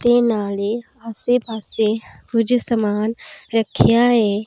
ਤੇ ਨਾਲੇ ਆਸੇ ਪਾਸੇ ਕੁਝ ਸਮਾਨ ਰੱਖਿਆ ਏ।